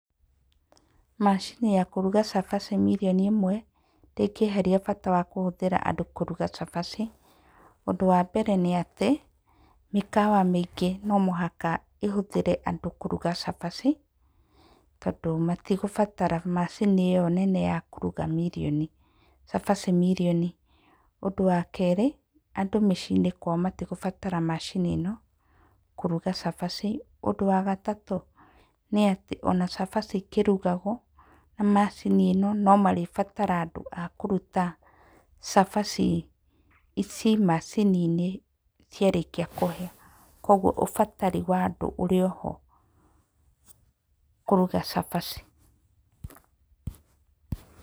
Macini ya kũruga cabaci mirioni ĩmwe ndĩngĩeheria bata wa kũhũthĩra andũ kũruga cabaci. Ũndũ wa mbere nĩ atĩ, mĩkawa mĩingĩ no mũhaka ĩhũthĩre andũ kũruga cabaci ,tondũ matigũbatara macini ĩo nene ya kũruga mirioni cabaci mirioni. Ũndũ wa kerĩ, andũ mĩciĩ-inĩ matikũbatara macini ĩno kũruga cabaci. Ũndũ wa gatatũ nĩ atĩ, o na cabaci ikĩrugagwo na macini ĩno no marĩbatara andũ a kũruta cabaci ici macini-nĩ ciarĩkia kũhĩa. kũoguo ũbatari wa andũ ũrĩ oho kũruga cabaci.